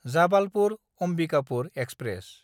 Jabalpur-Ambikapur express